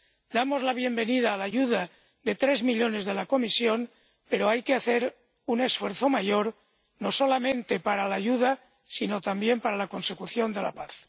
Damos la bienvenida a la ayuda de tres millones de la Comisión, pero hay que hacer un esfuerzo mayor no solamente para la ayuda, sino también para la consecución de la paz.